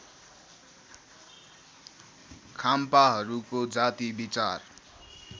खाम्पाहरूको जाति विचार